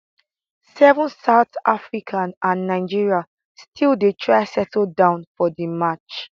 7 south africa and nigeria still dey try settle down for di match